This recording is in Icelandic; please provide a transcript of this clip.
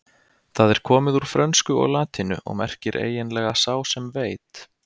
Það er komið úr frönsku og latínu og merkir eiginlega sá sem veit.